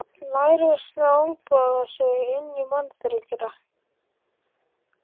Lærisveinarnir olnboga sig inn í mannþröngina.